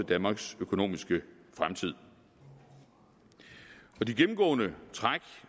danmarks økonomiske fremtid de gennemgående træk